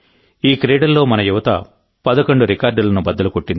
ఈ క్రీడల్లో మన యువత పదకొండు రికార్డులను బద్దలు కొట్టింది